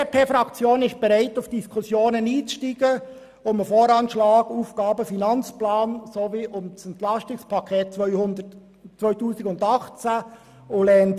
Die BDP-Fraktion ist bereit, auf die Diskussionen zum VA, zum AFP und zum EP 2018 einzusteigen.